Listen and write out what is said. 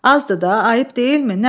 Azdır da, ayıb deyilmi?